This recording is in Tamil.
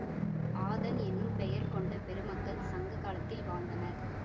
ஆதன் என்னும் பெயர் கொண்ட பெருமக்கள் சங்ககாலத்தில் வாழ்ந்தனர்